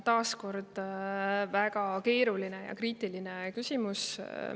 Taas väga keeruline ja kriitiline küsimus.